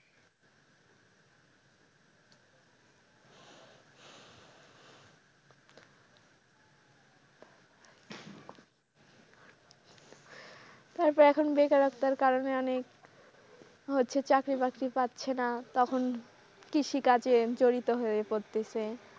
তারপর এখন বেকারত্বের কারণে অনেক হচ্ছে চাকরি বাকরি পাচ্ছে না তখন কৃষিকাজে জড়িত হয়ে পড়তেছে।